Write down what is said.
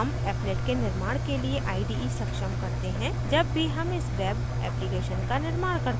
हम applet के निर्माण के लिए ide सक्षम करते हैं जब भी हम इस web application का निर्माण करते हैं